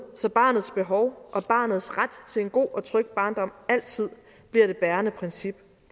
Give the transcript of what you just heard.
så barnets behov og barnets ret til en god og tryg barndom altid bliver det bærende princip